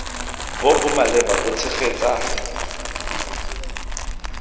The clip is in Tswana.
bo bo maleba bo tshegetsa